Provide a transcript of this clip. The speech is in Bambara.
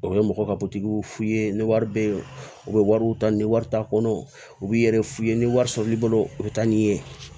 O ye mɔgɔ ka f'i ye ni wari be ye u be wariw ta ni wari t'a kɔnɔ u b'i yɛrɛ f'u ye ni wari sɔrɔli bolo u be taa ni ye